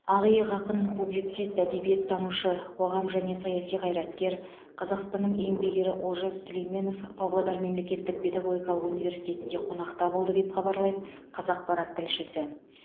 ақиық ақын публицист әдебиеттанушы қоғам және саяси қайраткер қазақстанның еңбек ері олжас сүлейменов павлодар мемлекеттік педагогикалық университетінде қонақта болды деп хабарлайды қазақпарат тілшісі